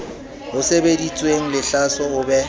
ho sebeditsweng lehlaso o be